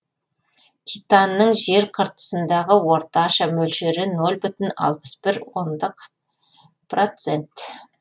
титанның жер қыртысындағы орташа мөлшері нөл бүтін алпыс бір ондық процент